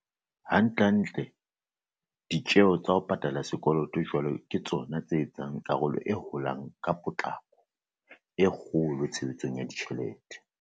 Hantlentle, ditjeo tsa ho pa tala sekoloto jwale ke tsona tse etsang karolo e holang ka potlako e kgolo tshebedisong ya tjhelete.